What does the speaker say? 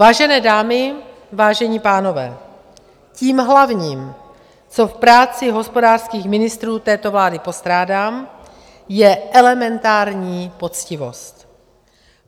Vážené dámy, vážení pánové, tím hlavním, co v práci hospodářských ministrů této vlády postrádám, je elementární poctivost.